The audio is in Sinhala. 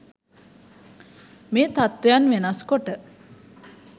මේ තත්ත්වයන් වෙනස් කොට